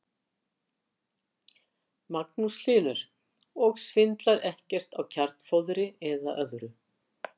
Magnús Hlynur: Og svindlar ekkert á kjarnfóðri eða öðru?